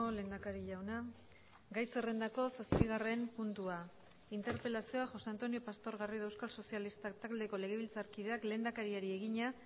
lehendakari jauna gai zerrendako zazpigarren puntua interpelazioa josé antonio pastor garrido euskal sozialistak taldeko legebiltzarkideak lehendakariari egina